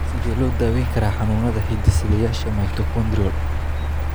Sidee loo daweyn karaa xanuunada hidde-sideyaasha mitochondrial?